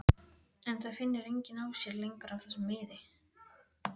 En það finnur enginn á sér lengur af þessum miði.